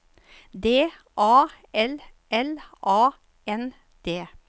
D A L L A N D